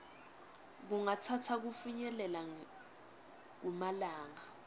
kungatsatsa kufinyelela kumalanga